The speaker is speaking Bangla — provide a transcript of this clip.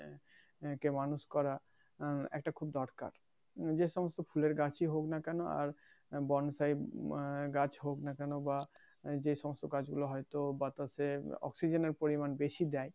একে মানুষ করা উম একটা খুব দরকার যে সমস্ত ফুলের গাছেই হোক না কেন আর বনসাই গাছ হোক না কেনো বা যেসমস্ত কাজ গুলো হয়তো বাতাসে অক্সিজেন এর পরিমান বেশি দেয়